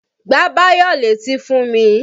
Gbá Báyọ̀ létí fún mi!